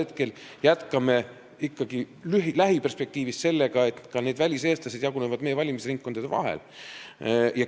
Me jätkame lähiperspektiivis sellega, et väliseestlased jagunevad meie valimisringkondade vahel.